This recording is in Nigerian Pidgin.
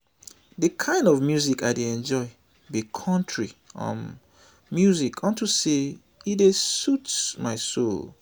the kin of music i dey enjoy be country um music unto say e dey soothe my soul